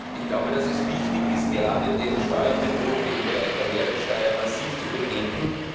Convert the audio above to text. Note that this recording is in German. Ich glaube, dass es wichtig ist, gerade den Steuerbetrug im Bereich der Mehrwertsteuer massiv zu bekämpfen.